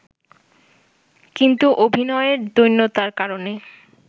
কিন্তু অভিনয়ের দৈন্যতার কারণে